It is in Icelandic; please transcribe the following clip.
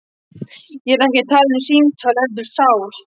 Ég er ekki að tala um símtal heldur sál.